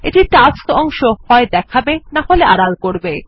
এটি টাস্কস অংশ হয় দেখাবে নাহলে আড়াল করবে